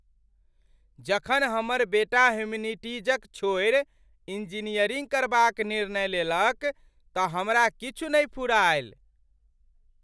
जखन हमर बेटा ह्यूमैनिटीज़क छोड़ि इंजीनियरिंग करबाक निर्णय लेलक तँ हमरा किछु नहि फुरायल।